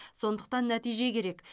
сондықтан нәтиже керек